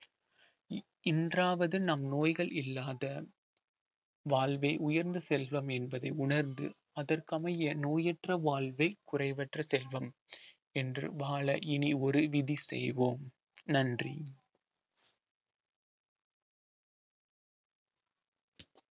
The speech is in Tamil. இன்றாவது நம் நோய்கள் இல்லாத வாழ்வே உயர்ந்த செல்வம் என்பதை உணர்ந்து அதற்கமைய நோயற்ற வாழ்வே குறைவற்ற செல்வம் என்று வாழ இனி ஒரு விதி செய்வோம் நன்றி